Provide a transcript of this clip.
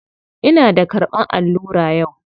Ina da karɓan allura yau.